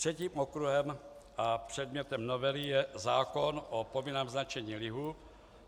Třetím okruhem a předmětem novely je zákon o povinném značení lihu.